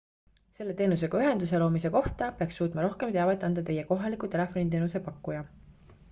selle teenusega ühenduse loomise kohta peaks suutma rohkem teavet anda teie kohalik telefoniteenuse pakkuja